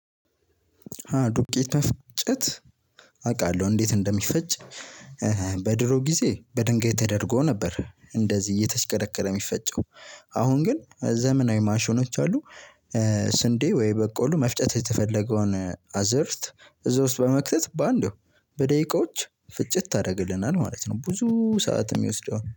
ዱቄት አፈጫጨትፍ አውቃለሁ እንዴት እንደሚፈጭ በድሮ ጊዜ በድንጋይ ተደርጎ ነበር እንደዚህ እየተሽከረከረ የሚፈጨው። አሁን ግን ዘመናዊ ማሽኖች አሉ። ስንዴ ወይ በቆሉ መፍጨት የተፈለገውን አዘርት እዛ ውስጥ በመክተት በአንዴው በደቂቃዎች ፍጭት ያደርግልናል ማለት ነው። ብዙ ሰዓት የሚወስደው